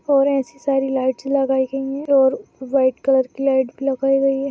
और ऐसी सारी लाइट्स लगाई गई है और व्हाइट कलर की लाइट भी लगाई गई है।